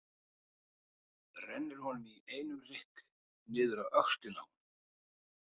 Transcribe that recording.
Rennir honum í einum rykk niður á öxlina á honum.